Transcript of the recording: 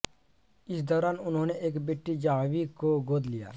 इस दौरान उन्होंने एक बेटी जाह्नवी को गोद लिया